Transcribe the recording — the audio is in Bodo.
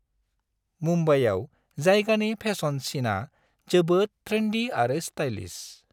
मुम्बाइआव जायगानि फेसन सिनआ जोबोद ट्रेन्डी आरो स्टाइलिश।